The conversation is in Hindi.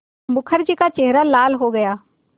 मुखर्जी का चेहरा लाल हो गया